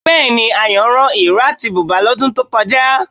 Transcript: Bẹ́ẹ̀ni, Ayọ̀ rán ìró àti bùbá lọ́dún tó kọjá